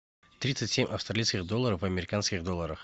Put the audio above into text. тридцать семь австралийских долларов в американских долларах